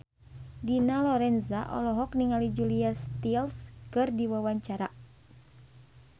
Dina Lorenza olohok ningali Julia Stiles keur diwawancara